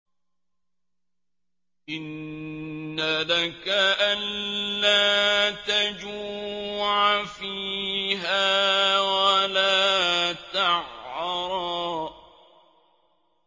إِنَّ لَكَ أَلَّا تَجُوعَ فِيهَا وَلَا تَعْرَىٰ